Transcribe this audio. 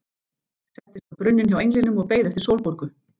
Settist á brunninn hjá englinum og beið eftir Sólborgu.